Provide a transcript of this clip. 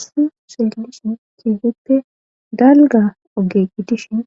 Isu seelishin keefippe dalga ogeqqi dishin